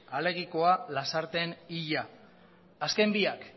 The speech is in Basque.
alegikoa lasarten hila azken biak